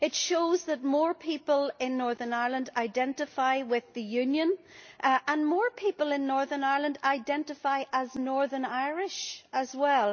These show that more people in Northern Ireland identify with the Union, and more people in Northern Ireland identify as Northern Irish as well.